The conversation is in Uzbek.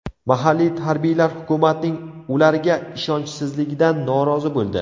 Mahalliy harbiylar hukumatning ularga ishonchsizligidan norozi bo‘ldi.